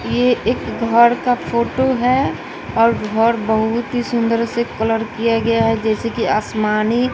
ये एक घर का फोटो है और घर बहुत ही सुंदर से कलर किया गया है जैसे कि आसमानी--